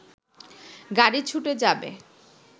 গাড়ি ছুটে যাবে